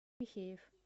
михеев